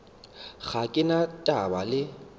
ga ke na taba le